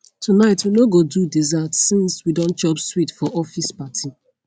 tonight we no go do dessert since we don chop sweet for office party